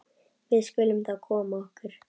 Við skulum þá koma okkur.